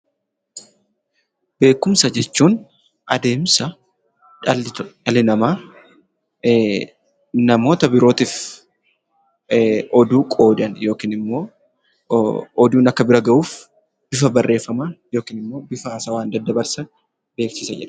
Beekumsa jechuun adeemsa dhalli namaa namoota birootiif oduu qoodan yookiin immoo oduun akka bira gahuuf bifa barreeffamaan yookiin immoo bifa haasawaan daddabarsan beekumsa jedhama.